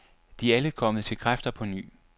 De er alle kommet til kræfter på ny.